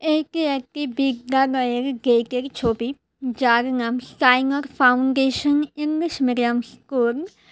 এটি একটি বিদ্যালয়ের গেটের ছবি যার নাম শায়নাট foundation English school medium school.